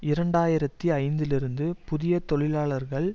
இரண்டு ஆயிரத்தி ஐந்திலிருந்து புதிய தொழிலாளர்கள்